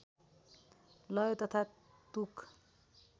लय तथा तुक